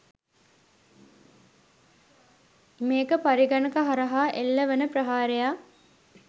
මේක පරිගණක හරහා එල්ල වන ප්‍රහාරයක්.